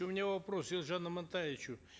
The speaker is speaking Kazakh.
у меня вопрос елжану амантаевичу